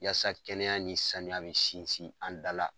Yasa kɛnɛya nin sanuya bɛ sinsin an da la.